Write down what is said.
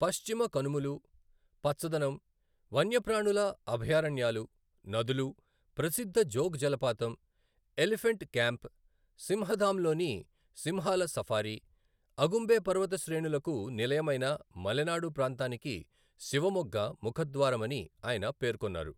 పశ్చిమ కనుమలు, పచ్చదనం, వన్యప్రాణుల అభయారణ్యాలు, నదులు, ప్రసిద్ధ జోగ్ జలపాతం, ఎలిఫెంట్ క్యాంప్, సింహధామ్లోని సింహాల సఫారీ, అగుంబే పర్వత శ్రేణులకు నిలయమైన మలెనాడు ప్రాంతానికి శివమొగ్గ ముఖద్వారమని ఆయన పేర్కొన్నారు.